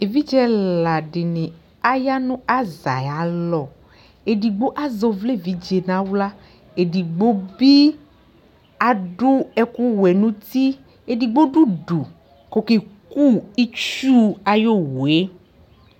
Evidze ɛla dɩnɩ aya nʋ aza ayʋ alɔ Edigbo azɛ ɔvla evidze nʋ aɣla, edigbo bɩ adʋ ɛkʋwɛ nʋ uti, edigbo dʋ udu kʋ ɔkeku itsu ayʋ owu yɛ